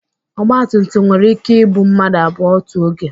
Ọgba tum tum nwere ike ibu mmadụ abụọ otu oge.